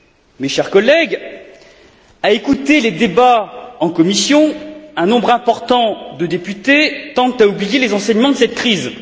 Mes chers collègues, à écouter les débats en commission, un nombre important de députés tendent à oublier les enseignements de cette crise.